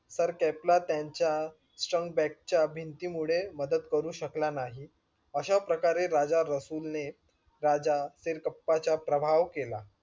sir kelpa तेंच्या shrink back च्या भिंतीमुळे मदत करू शकला नाही अशा प्रकारे राजा रसूल ने राजा सिरकप्पाच्या प्रभाव केला.